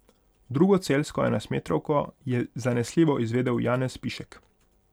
Drugo celjsko enajstmetrovko je zanesljivo izvedel Janez Pišek.